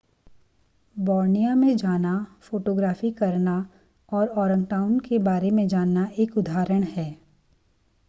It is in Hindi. बॉर्नियो में जाना फोटोग्राफी करना और औरैंगउटान के बारे में जानना एक उदाहरण है